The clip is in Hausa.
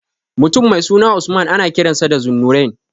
Mutum mai suna Usman ana kiransa da Zunnurain.